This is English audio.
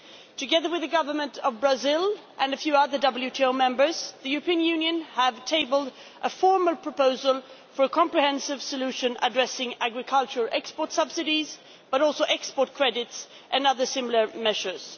Together with the Government of Brazil and a few other WTO members, the European Union has tabled a formal proposal for a comprehensive solution addressing agricultural export subsidies, but also export credits and other similar measures.